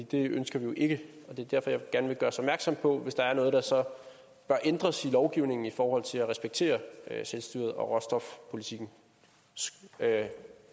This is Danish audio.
det ønsker vi jo ikke og det er derfor jeg gerne vil gøres opmærksom på det hvis der er noget der så bør ændres i lovgivningen i forhold til at respektere selvstyret og råstofpolitikkens